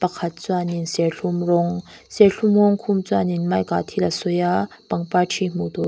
pakhat chuanin serthlum rawng serthlum rawng khum chuanin mike ah thil a sawi a parpang ṭhi hmuh tur--